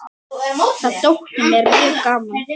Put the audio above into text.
Það þótti mér mjög gaman.